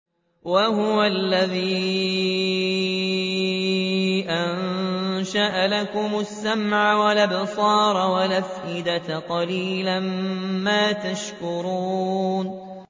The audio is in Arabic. وَهُوَ الَّذِي أَنشَأَ لَكُمُ السَّمْعَ وَالْأَبْصَارَ وَالْأَفْئِدَةَ ۚ قَلِيلًا مَّا تَشْكُرُونَ